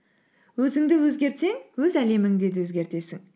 өзіңді өзгертсең өз әлеміңді де өзгертесің